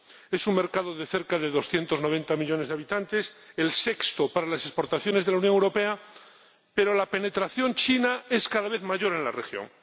Es un mercado de cerca de 290 millones de habitantes, el sexto para las exportaciones de la Unión Europea, pero la penetración china es cada vez mayor en la región.